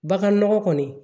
Baganɔgɔ kɔni